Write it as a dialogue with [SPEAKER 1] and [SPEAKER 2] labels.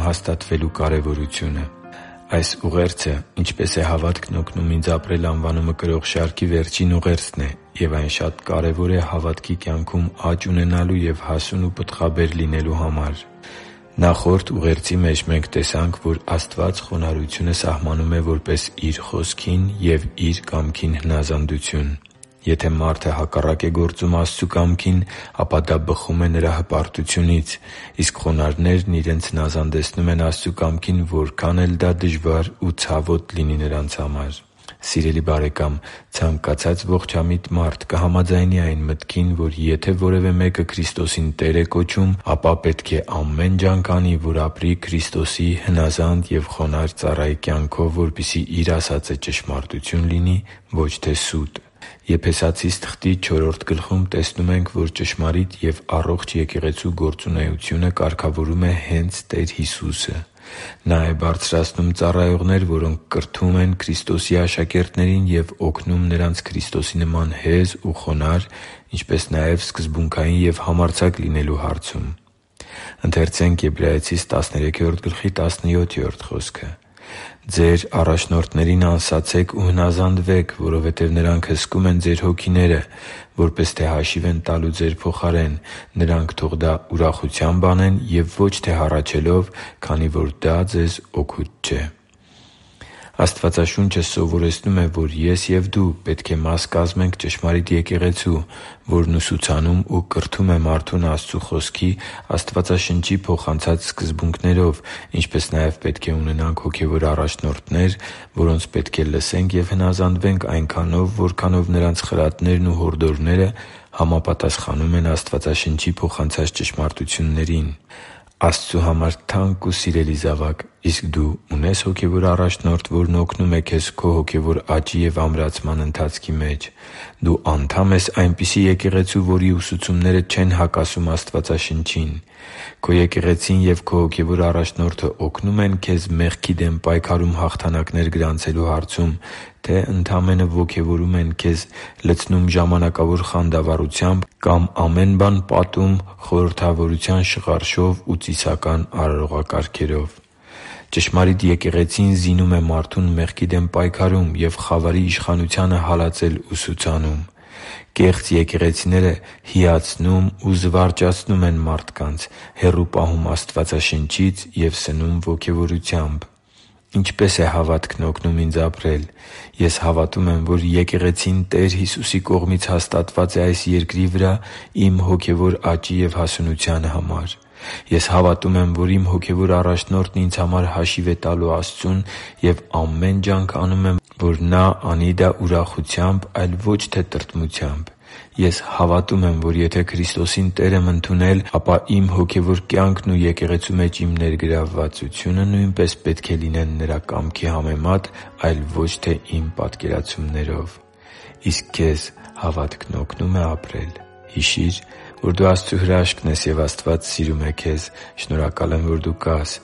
[SPEAKER 1] հաստատվելու կարևորությունը Այս ուղերձը«Ինչպե՞ս է հավատքն օգնում ինձ ապրել»անվանումը կրող շարքի վերջին ուղերձն է, և այն շատ կարևոր է հավատքի կյանքում աճ ունենալու և հասուն ու պտղաբեր լինելու համար։ Նախորդ ուղերձի մեջ մենք տեսանք, որ Աստված խոնարհությունը սահմանում է որպես Իր Խոսքին ու Իր կամքին հնազանդություն։ Եթե մարդը հակառակ է գործում Աստծու կամքին, ապա դա բխում է նրա հպարտությունից։ Իսկ խոնարհներն իրենց հնազանդեցնում են Աստծու կամքին, որքան էլ դա դժվար ու ցավոտ լինի նրանց համար։ Սիրելի՛ բարեկամ, ցանկացած ողջամիտ մարդ կհամաձայնի այն մտքին, որ եթե որևէ մեկը Քրիստոսին Տեր է կոչում, ապա պետք է ամեն ջանք անի, որ ապրի Քրիստոսի հնազանդ ու խոնարհ ծառայի կյանքով, որպեսզի իր ասածը ճշմարտություն լինի, ոչ թե՝ սուտ։ Եփեսացիս թղթի չորրորդ գլխում տեսնում ենք, որ ճշմարիտ և առողջ եկեղեցու գործունեությունը կարգավորում է հե՛նց Տեր Հիսուսը։ Նա՛ է բարձրացնում ծառայողներ, որոնք կրթում են Քրիստոսի աշակերտներին և օգնում նրանց Քրիստոսի նման հեզ ու խոնարհ, ինչպես նաև սկզբունքային և համարձակ լինելու հարցում։ «Ձեր առաջնորդներին անսացե՛ք ու հնազանդվե՛ք, որովհետև նրանք հսկում են ձեր հոգիները, որպես թե հաշիվ են տալու ձեր փոխարեն։ Նրանք թող դա ուրախությամբ անեն և ոչ թե հառաչելով, քանի որ դա ձեզ օգուտ չէ» (Եբրայեցիս 13․17): Աստվածաշունչը սովորեցնում է, որ ես և դու պետք է մաս կազմենք ճշմարիտ եկեղեցու, որն ուսուցանում ու կրթում է մարդուն Աստծու Խոսքի՝ Աստվածաշնչի փոխանցած սկզբունքներով, ինչպես նաև պետք է ունենանք հոգևոր առաջնորդներ, որոնց պետք է լսենք և հնազանդվենք այնքանով, որքանով նրանց խրատներն ու հորդորները համապատասխանում են Աստվածաշնչի փոխանցած ճշմարտություններին։ Աստծու համար թանկ ու սիրելի՛ զավակ, իսկ դու ունե՞ս հոգևոր առաջնորդ, որն օգնում է քեզ քո հոգևոր աճի և ամրացման ընթացքի մեջ։ Դու անդա՞մ ես այնպիսի եկեղեցու, որի ուսուցումները չեն հակասում Աստվածաշնչին։ Քո եկեղեցին և քո հոգևոր առաջնորդը օգնո՞ւմ են քեզ մեղքի դեմ պայքարում հաղթանակներ գրանցելու հարցում, թե՞ ընդամենը ոգևորում են քեզ, լցնում ժամանակավոր խանդավառությամբ կամ ամեն բան պատում խորհրդավորության շղարշով ու ծիսական արարողակարգերով։ Ճշմարիտ եկեղեցին զինում է մարդուն մեղքի դեմ պայքարում և խավարի իշխանությանը հալածել ուսուցանում։ Կեղծ եկեղեցիները հիացնում ու զվարճացնում են մարդկանց, հեռու պահում Աստվածաշնչից և սնում ոգևորությամբ։ Ինչպե՞ս է հավատքն օգնում ինձ ապրել։ Ես հավատում եմ, որ եկեղեցին Տեր Հիսուսի կողմից հաստատված է այս երկրի վրա իմ հոգևոր աճի և հասունության համար։ Ես հավատում եմ, որ իմ հոգևոր առաջնորդն ինձ համար հաշիվ է տալու Աստծուն, և ամեն ջանք անում եմ, որ նա անի դա ուրախությամբ, այլ ոչ թե տրտմությամբ։ Ես հավատում եմ, որ եթե Քրիստոսին Տեր եմ ընդունել, ապա իմ հոգևոր կյանքն ու եկեղեցու մեջ իմ ներգրավվածությունը նույնպես պետք է լինեն Նրա կամքի համեմատ, այլ ոչ թե՝ իմ պատկերացումներով։ Իսկ քեզ հավատքն օգնո՞ւմ է ապրել․․․ Հիշի՛ր, որ դու Աստծո հրաշքն ես, և Աստված սիրում է քեզ։ Շնորհակալ եմ, որ դու կա՛ս